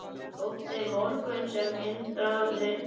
Þótti mörgum sem Indriði í